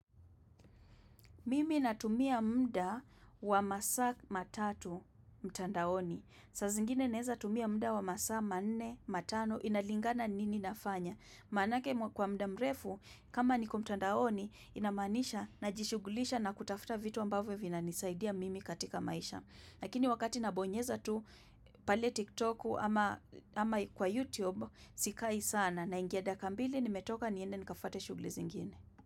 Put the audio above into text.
Mimi natumia mda wa masaa matatu mtandaoni. Saa zingine neza tumia mda wa masaa manne matano inalingana nini nafanya. Manake kwa mda mrefu kama niko mtandaoni inamaanisha na jishugulisha na kutafuta vitu ambavyo vina nisaidia mimi katika maisha. Lakini wakati nabonyeza tu pale tiktoku ama kwa youtube sikai sana na ingia dakikambili nimetoka niende nikafuate shughli zingine.